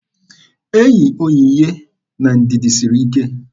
Enyi Onyinye na Ndidi siri ike.